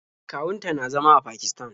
Kawun ta na zama a Pakisatan.